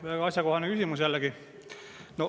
Väga asjakohane küsimus jällegi.